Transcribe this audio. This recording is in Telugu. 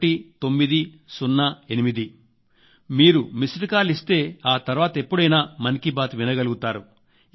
కి మీరు మిస్డ్ కాల్ ఇస్తే ఆ తర్వాత ఎప్పుడైనా మన్ కీ బాత్ వినగలుగుతారు